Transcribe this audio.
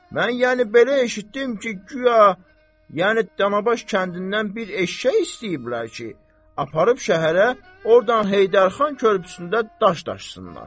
Mən yəni belə eşitdim ki, guya yəni Danabaş kəndindən bir eşşək istəyiblər ki, aparıb şəhərə, ordan Heydərxan körpüsündə daş daşısınlar.